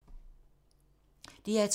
DR2